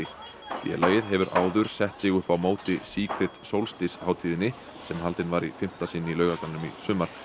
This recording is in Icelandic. félagið hefur áður sett sig upp á móti Secret Solstice hátíðinni sem haldin var í fimmta sinn í Laugardalnum í sumar